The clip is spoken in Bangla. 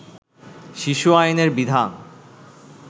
শিশু আইনের বিধান